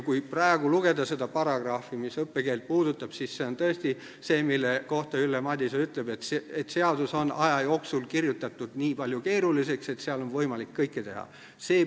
Kui praegu lugeda seda paragrahvi, mis puudutab õppekeelt, siis see on tõesti see, mille kohta Ülle Madise ütleb, et seadus on aja jooksul kirjutatud nii keeruliseks, et selle järgi on võimalik kõike teha.